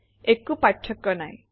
একো পাৰ্থক্য নাই